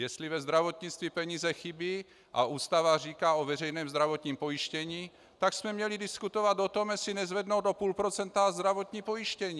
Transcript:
Jestli ve zdravotnictví peníze chybí, a Ústava říká o veřejném zdravotním pojištění, tak jsme měli diskutovat o tom, jestli nezvednout o půl procenta zdravotní pojištění.